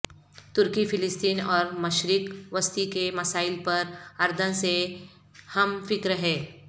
ترکی فلسطین اور مشرق وسطی کے مسائل پر اردن سے ہم فکر ہے